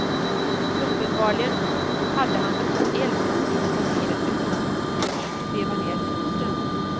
Uppenbarligen hade han öppnat eld inifrån bilen utan att först veva ned fönstren.